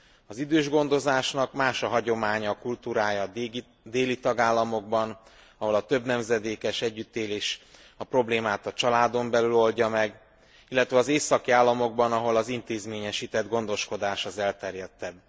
Az idősgondozásnak más a hagyománya, a kultúrája a déli tagállamokban, ahol a többnemzedékes együttélés a problémát a családon belül oldja meg, illetve az északi államokban, ahol az intézményesített gondoskodás az elterjedtebb.